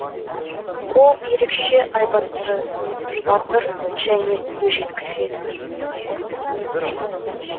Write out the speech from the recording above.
ол ерекше айбатты батыр және өжет кісі еді